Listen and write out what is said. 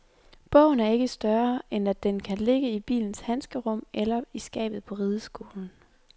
Bogen er ikke større, end at den kan ligge i bilens handskerum eller i skabet på rideskolen.